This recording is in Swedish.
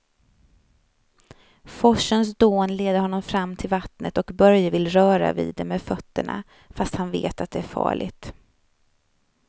Forsens dån leder honom fram till vattnet och Börje vill röra vid det med fötterna, fast han vet att det är farligt.